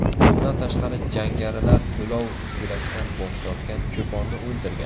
Bundan tashqari, jangarilar to‘lov to‘lashdan bosh tortgan cho‘ponni o‘ldirgan.